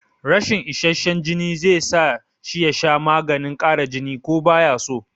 Rashin isasshen jini zai sa shi ya sha maganin ƙara jini ko baya so